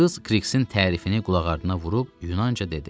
Qız Kriksin tərifini qulaqardına vurub Yunanca dedi: